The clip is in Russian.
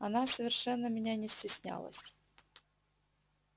она совершенно меня не стеснялась